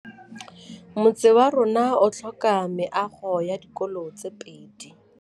Motse warona o tlhoka meago ya dikolô tse pedi.